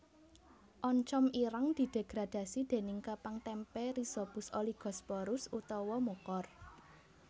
Oncom ireng didegradasi déning kapang témpé Rhizopus oligosporus utawa Mucor